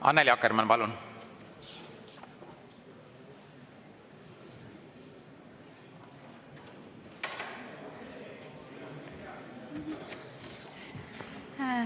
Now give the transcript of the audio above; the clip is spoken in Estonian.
Annely Akkermann, palun!